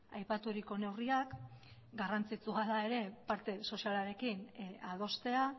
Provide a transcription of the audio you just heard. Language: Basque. aipaturiko neurriak garrantzitsua da ere parte sozialarekin adostea